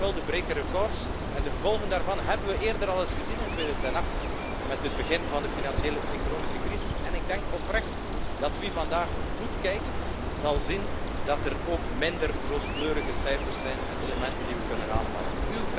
Die schulden breken records en de gevolgen daarvan hebben we eerder al eens gezien in 2008, met het begin van de financiële economische crisis. Wie vandaag goed kijkt, zal zien dat er ook minder rooskleurige cijfers zijn en elementen die we kunnen aanhalen.